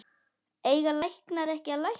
Eiga læknar ekki að lækna?